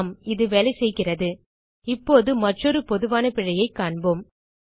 ஆம் இது வேலை செய்க இப்போது மற்றொரு பொதுவான பிழையைக் காண்போம்